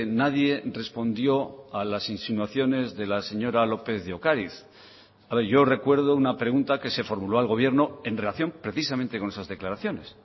nadie respondió a las insinuaciones de la señora lópez de ocariz yo recuerdo una pregunta que se formuló al gobierno en relación precisamente con esas declaraciones